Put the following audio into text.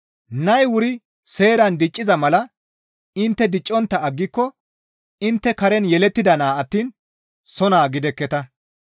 Nay wuri seeran dicciza mala intte diccontta aggiko intte karen yelettida naa attiin soo naa gidekketa.